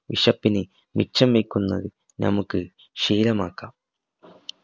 വിശപ്പിന് മിച്ചം വെക്കുന്നത് നമുക് ശീലമാക്കാം